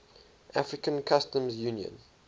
african customs union